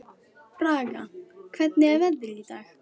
Braga, hvernig er veðrið í dag?